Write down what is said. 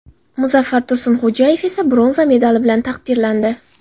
Muzaffar Tursunxo‘jayev esa bronza medali bilan taqdirlandi.